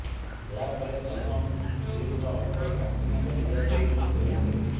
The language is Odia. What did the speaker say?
ଏହାପରେ ସଲମାନ ଫିଲ୍ମର ଅଫର୍ କ୍ୟାଟ୍ରିନାଙ୍କୁ ଦିଆଯାଉ ବୋଲି କହିଥିଲେ